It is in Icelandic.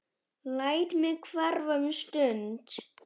Læt mig hverfa um stund.